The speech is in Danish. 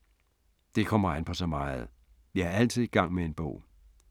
Det kommer an på så meget. Jeg er altid i gang med en bog.